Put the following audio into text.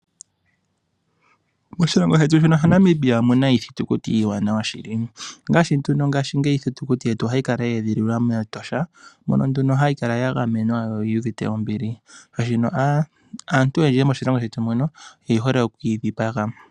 Moshilongo shetu shaNamibia omuna iithitukuti iiwanawa shili ongaashi nduno ngaashingeyi iithitukuti yetu ohayi kala yeedhililwa mEtosha mono nduno hayi kala yagamenwa yo yuuvite ombili shaashino aantu oyendji moshilongo shetu muno oyehole okukeyi dhipaga.